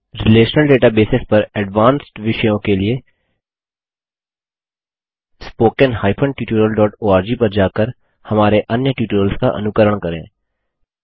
relational databases पर advanced विषयों के लिए spoken tutorialओआरजी पर जाकर हमारे अन्य ट्यूटोरियल्स का अनुकरण करें